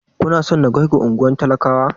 Kuna so na kaiku unguwar talakawa?